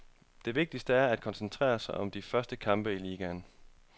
Det vigtigste er at koncentrere sig om de første kampe i ligaen.